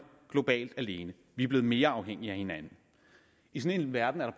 globalt alene vi er blevet mere afhængige af hinanden i sådan en verden er